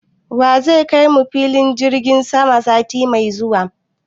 Wa zai kai mu filin jirgin sama sati mai zuwa?